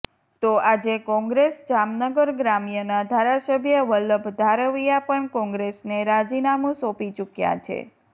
તો આજે કોંગ્રેસ જામનગર ગ્રામ્યના ધારાસભ્ય વલ્લભ ધારવીયા પણ કોંગ્રેસને રાજીનામુ સોંપી ચૂક્યા છે